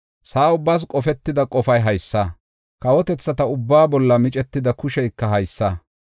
Sa7a ubbaas qofetida qofay haysa; kawotethata ubbaa bolla micetida kusheyka haysa.